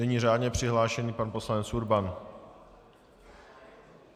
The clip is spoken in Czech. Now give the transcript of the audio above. Nyní řádně přihlášený pan poslanec Urban.